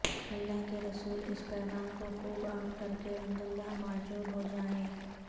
اللہ کے رسول اس پیغام کو خوب عام کرکے عنداللہ ماجور ہوجائیے